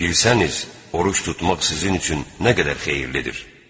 Bilsəniz, oruc tutmaq sizin üçün nə qədər xeyirlidir.